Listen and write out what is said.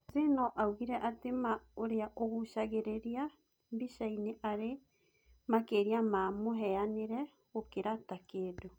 Hsieh no augire atĩ Ma ũrĩa ũgucagĩrĩria mbicainĩ arĩ makĩria ma mũhianĩre gũkĩra ta kĩndũ